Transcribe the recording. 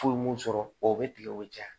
Fu m'u sɔrɔ o bɛ tigɛ o bɛ caya